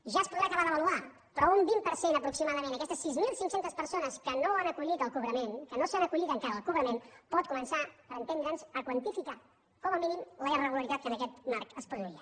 ja es podrà acabar d’avaluar però un vint per cent aproximadament d’aquestes sis mil cinc cents persones que no s’han acollit al cobrament que no s’han acollit encara al cobrament pot començar per entendre’ns a quantificar com a mínim la irregularitat que en aquest marc es produïa